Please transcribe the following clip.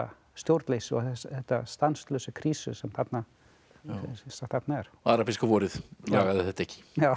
stjórnleysi og þessar stanslausu krísur sem þarna eru arabíska vorið lagaði þetta ekki